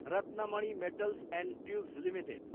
Ratnamani metals and tubes limited